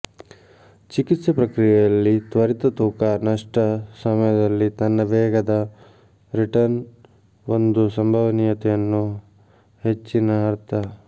ಚಿಕಿತ್ಸೆ ಪ್ರಕ್ರಿಯೆಯಲ್ಲಿ ತ್ವರಿತ ತೂಕ ನಷ್ಟ ಸಮಯದಲ್ಲಿ ತನ್ನ ವೇಗದ ರಿಟರ್ನ್ ಒಂದು ಸಂಭವನೀಯತೆಯನ್ನು ಹೆಚ್ಚಿನ ಅರ್ಥ